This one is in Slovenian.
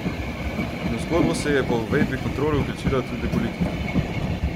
In v zgodbo se je po uvedbi kontrol vključila tudi politika.